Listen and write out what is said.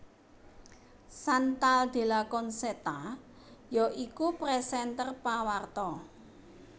Chantal Della Concetta ya iku présènter pawarta